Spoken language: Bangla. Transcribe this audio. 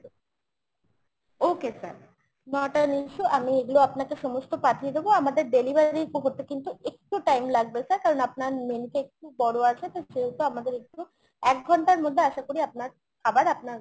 okay sir not an issue । আমি এগুলো সমস্ত আপনাকে পাঠিয়ে দেবো। আমাদের delivery করতে কিন্তু একটু time লাগবে sir কারণ আপনার menu টা একটু বড়ো আছে তো সেহেতু আমাদের একটু এক ঘন্টার মধ্যে আশা করি আপনার খাবার আপনার